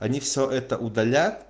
они всё это удалят